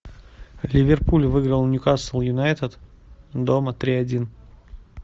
ливерпуль выиграл ньюкасл юнайтед дома три один